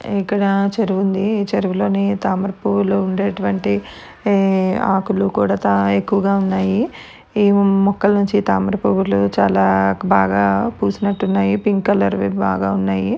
ఇక్కడ చెరువు ఉంది చెరువులోని తామర పూలు ఉండేటువంటి ఈ ఆకులు కూడా ఎక్కువగా ఉన్నాయి. మొక్కలు నుంచి తామర పూలు చాలా బాగా పూసినట్టున్నాయి. పింక్ కలర్ వి బాగా ఉన్నాయి.